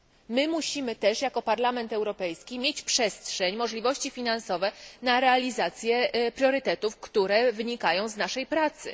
My musimy też jako Parlament Europejski mieć przestrzeń, możliwości finansowe na realizację priorytetów, które wynikają z naszej pracy.